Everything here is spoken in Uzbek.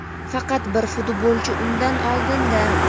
Faqat bir futbolchi undan oldinda.